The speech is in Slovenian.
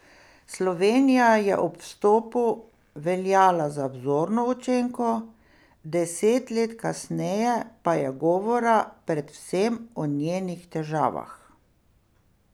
Slovenija je ob vstopu veljala za vzorno učenko, deset let kasneje pa je govora predvsem o njenih težavah.